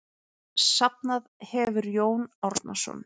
Safnað hefur Jón Árnason.